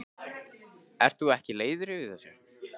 Ert þú ekki leiður yfir þessu?